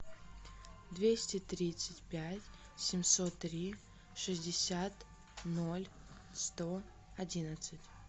двести тридцать пять семьсот три шестьдесят ноль сто одиннадцать